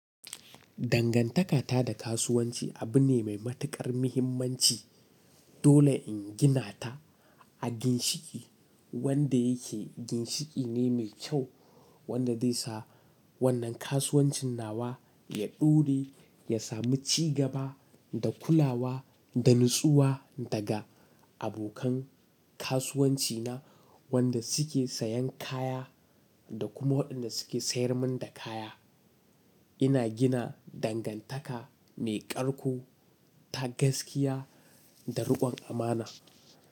Dangantaka ta da kasuwanci abu ne mai matuƙar muhimmanci. Dole in gina ta a ginshiƙi wanda yake ginshiƙi ne mai kyau wanda zai sa wannan kasuwancin nawa ya ɗore, ya sami cigaba da kulawa da natsuwa daga abokan kasuwanci na wanda su ke sayan kaya da kuma waɗanda su ke sayar min da kaya. Ina gina dangantaka mai ƙarko ta gaskiya da riƙon amana.